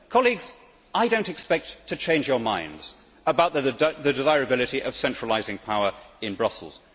Colleagues, I do not expect to change your minds about the desirability of centralising power in Brussels.